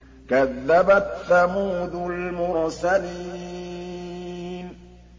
كَذَّبَتْ ثَمُودُ الْمُرْسَلِينَ